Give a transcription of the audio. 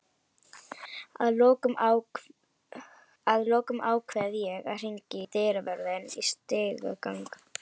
Að lokum ákveð ég að hringja í dyravörðinn í stigagang